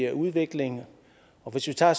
udvikling og hvis vi tager